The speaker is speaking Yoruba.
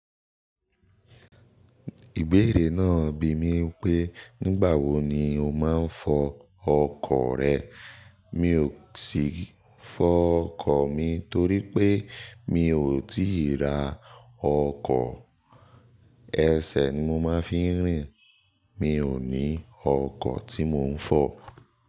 Ìbéèrè náà bi mí pé, nígbà wo ni o máa ń fọ ọkọ̀ rẹ? Mi ò tíì fọ ọkọ̀ mi torí pé mi ò tíì ra ọkọ̀. Ẹsẹ̀ ni mo máa ń fi ń rìn. Mi ò ní ọkọ̀ tí mò ń fọ̀.